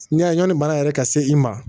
N'i y'a ɲɔni baara yɛrɛ ka se i ma